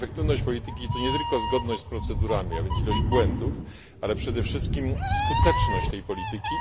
A efektywność polityki to nie tylko zgodność z procedurami, a więc ilość błędów, ale przede wszystkim skuteczność tej polityki.